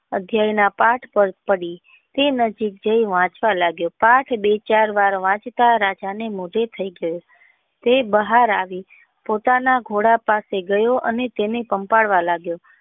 અધ્યાય ના પાથ પાર પડી તે વાંચવા લાગ્યો પાથ બે ચાર વાર વાંચતા રાજા ને મોઢે થઈ ગઈ તે બહાર આવી પોતાના ઘોડા પાસે ગયો અને તેને પંપાળવા લાગ્યો.